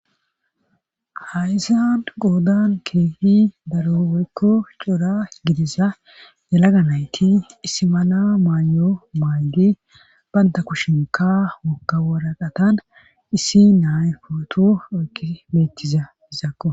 hayzan goodan keehi daro worikko cora gidisa yalaganayti issimala maanyo maaygi banta kushinka wokka waraqatan issi nay footu okki meetiza izakko